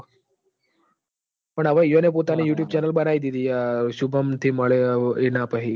પણ હવે ઇ વોને પોતાનું youtubecenal બનાઈ દીધું હ શુભમ થી મળ્યો ઇના પાહી